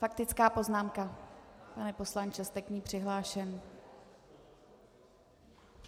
Faktická poznámka, pane poslanče, jste k ní přihlášen.